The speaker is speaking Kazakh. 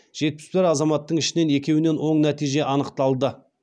жетпіс бір азаматтың ішінен екеуінен оң нәтиже анықталды